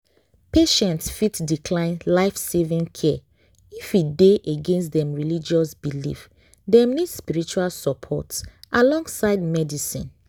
patients fit decline life-saving care if e dey against dem religious belief dem need spiritual support alongside medicine